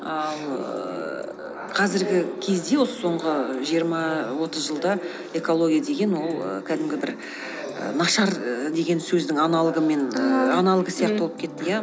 ал ііі қазіргі кезде осы соңғы жиырма отыз жылда экология деген ол ііі кәдімгі бір ііі нашар і деген сөздің аналогы сияқты болып кетті иә